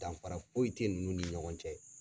Danfara foyi tɛ ninnu ni ɲɔgɔn cɛ.